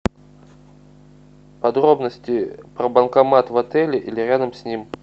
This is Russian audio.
подробности про банкомат в отеле или рядом с ним